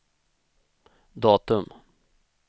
datum